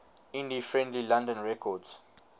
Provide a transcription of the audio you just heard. indie friendly london records